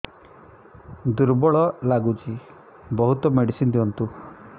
ଦୁର୍ବଳ ଲାଗୁଚି ବହୁତ ମେଡିସିନ ଦିଅନ୍ତୁ